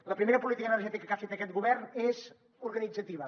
la primera política energètica que ha fet aquest govern és organitzativa